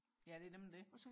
ja det er nemlig det